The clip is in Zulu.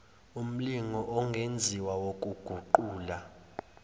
umlingo ongenziwa wokuguqula